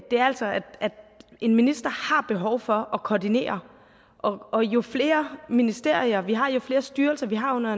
er altså at en minister har behov for at koordinere og jo flere ministerier vi har og jo flere styrelser vi har under